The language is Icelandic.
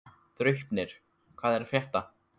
Draupnir, hvað er að frétta?